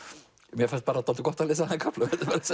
mér fannst dálítið gott að lesa þann kafla